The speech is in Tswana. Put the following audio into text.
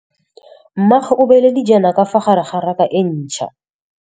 Mmê o beile dijana ka fa gare ga raka e ntšha.